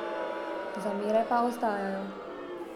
Zamere pa ostajajo.